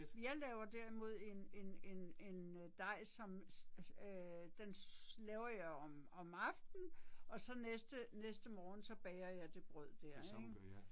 Jeg laver derimod en en en en øh dej som øh den laver jeg om om aften og så næste næste morgen så bager jeg det brød der ik